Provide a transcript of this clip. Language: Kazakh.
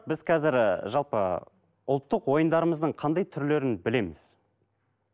біз қазір ы жалпы ұлттық ойындарымыздың қандай түрлерін білеміз